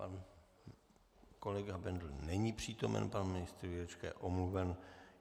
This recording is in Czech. Pan kolega Bendl není přítomen, pan ministr Jurečka je omluven.